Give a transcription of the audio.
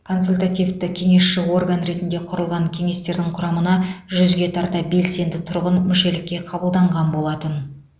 консультативті кеңесші орган ретінде құрылған кеңестердің құрамына жүзге тарта белсенді тұрғын мүшелікке қабылданған болатын